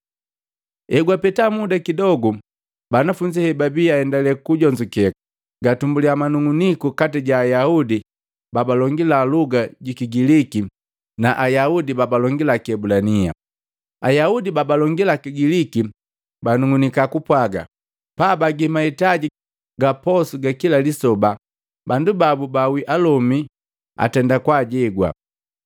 Hegwapeta muda kidogu, banafunzi hebabii aendalee kujonzukeka, gatumbuliya manung'uniku kati ja Ayaudi babalongila luga ji Kigiliki na Ayaudi babalongila Kiebulania. Ayaudi babalongila Kigiliki banug'unika kupwaga, paabagi mahitaji ga posu ga kila lisoba, bandu babu baawi alomi babu atendika kwajegwa.